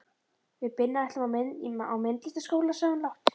Við Binna ætlum á myndlistarskóla, sagði hún lágt.